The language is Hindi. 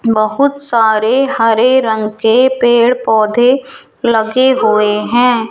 बहुत सारे हरे रंग के पेड़ पौधे लगे हुए हैं।